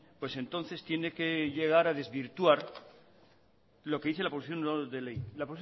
pues entonces tiene que llegar a desvirtuar lo que dice la proposición no de ley la